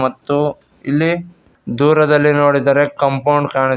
ಮತ್ತು ಇಲ್ಲಿ ದೂರದಲ್ಲಿ ನೋಡಿದರೆ ಕಾಂಪೌಂಡ್ ಕಾಣಿಸು--